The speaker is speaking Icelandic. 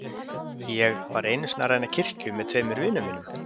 Ég. ég var einu sinni að ræna kirkju með tveimur vinum mínum.